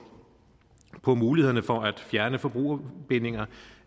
på mulighederne for at fjerne forbrugerbindinger